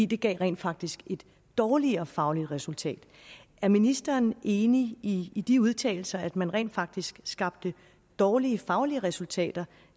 det gav rent faktisk et dårligere fagligt resultat er ministeren enig i i de udtalelser nemlig at man rent faktisk skabte dårlige faglige resultater